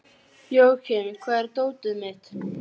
Leiða hana inn í samfélag guðs.